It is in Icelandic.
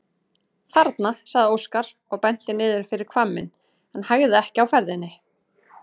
Þarna, sagði Óskar og benti niður fyrir hvamminn en hægði ekki á ferðinni.